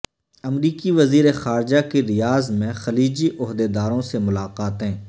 امریکی وزیرخارجہ کی ریاض میں خلیجی عہدیداروں سے ملاقاتیں